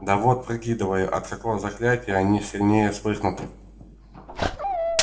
да вот прикидываю от какого заклятия они сильнее вспыхнут